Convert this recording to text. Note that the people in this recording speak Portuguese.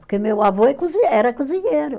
Porque meu avô é cozi, era cozinheiro.